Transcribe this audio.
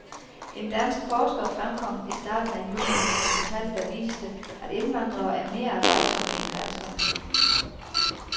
En dansk forsker fremkom i starten af juni med nogle tal, der viste, at indvandrere er mere arbejdsomme en danskerne.